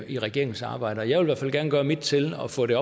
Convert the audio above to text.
i regeringens arbejde og jeg vil i hvert fald gerne gøre mit til at få det